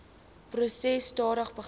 proses stadig begin